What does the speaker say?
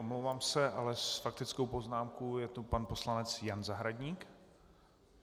Omlouvám se , ale s faktickou poznámkou je tu pan poslanec Jan Zahradník.